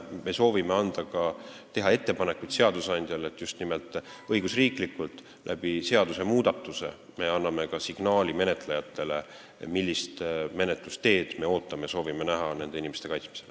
Me soovime teha ettepanekuid seadusandjale, et just nimelt õigusriiklikult, seadusmuudatuse abil anda signaal menetlejatele, millist menetlusteed me soovime näha nende inimeste kaitsmisel.